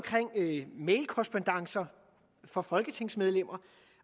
mailkorrespondance for folketingsmedlemmer